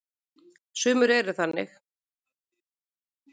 Sumir eru þannig.